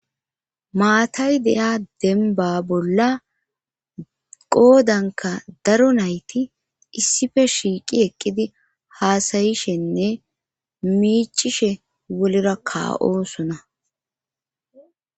maatay de7iya denba bolla qoodanka daro nayti issife shiiqi eqqidi haasayishenne miicishe wolera ka7osona